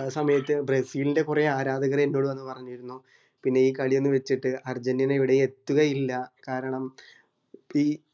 ആ സമയത്ത് ബ്രസീലിൻറെകൊറേ ആരാധകര് എന്നോട് വന്നു പറഞ്ഞിരുന്നു പിന്നെ ഈ കാളി ഒന്നും വെച്ചിട്ട് അർജന്റീന എവിടേ എത്തുകയില്ല കാരണം ഇപ്പൊഈ